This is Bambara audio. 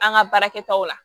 An ka baarakɛtaw la